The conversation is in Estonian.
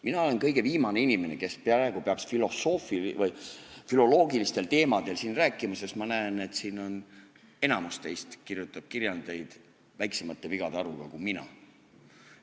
Mina olen kõige viimane inimene, kes peaks praegu filoloogilistel teemadel rääkima, sest ma näen, et enamik teist siin kirjutab kirjandeid väiksemate vigade arvuga kui mina.